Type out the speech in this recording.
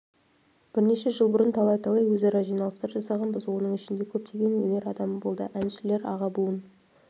бірнеше жыл бұрын талай-талай өзара жиналыстар жасағанбыз оның ішінде көптеген өнер адамы болды әншілер аға буын